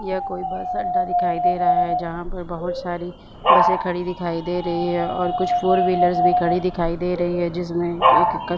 यह कोई बस अड्डा दिखाई दे रहा है जहाँ पर बहुत सारी बसें खड़ी दिखाई दे रही है और कुछ फोर व्हीलर्स भी खड़ी दिखाई दे रही है जिसमें एक क --